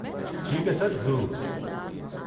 ٹھیک ہے سر، ضرور۔